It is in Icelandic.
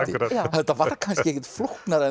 þetta var kannski ekkert flóknara